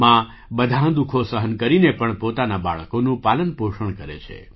મા બધાં દુઃખો સહન કરીને પણ પોતાના બાળકોનું પાલનપોષણ કરે છે